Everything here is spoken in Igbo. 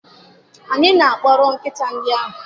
Anyị na-akpọrọ nkịta ndị ahụ?